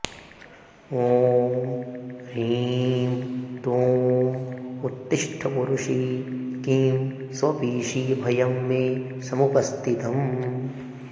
ॐ ह्रीं दुं उत्तिष्ठ पुरुषि किं स्वपिषि भयं मे समुपस्थितम्